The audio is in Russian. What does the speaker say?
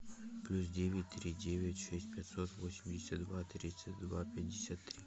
плюс девять три девять шесть пятьсот восемьдесят два тридцать два пятьдесят три